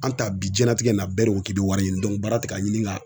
An ta bi diɲɛlatigɛ na bɛɛ de ko k'i bɛ wari ɲini baara tɛ ka ɲini ka